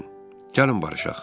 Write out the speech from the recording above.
Gəlin barışaq."